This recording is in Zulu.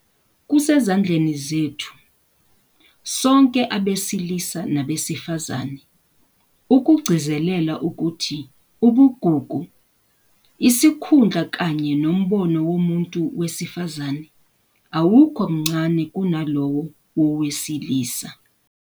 Kusezandleni zethu - sonke abesilisa nabesifazane - ukugcizelela ukuthi ubugugu, isikhundla kanye nombono womuntu wesifazane awukho mncane kunalowo wowesilisa.